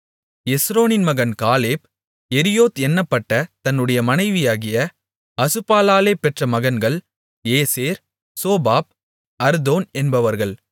எஸ்ரோனின் மகன் Caleb Jerioth என்னப்பட்ட தன்னுடைய மனைவியாகிய அசுபாளாலே பெற்ற மகன்கள் ஏசேர் சோபாப் அர்தோன் என்பவர்கள்